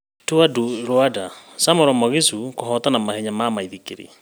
Tour du Rwanda: Samuel Mugisha kũhotana mahenya ma maithikiri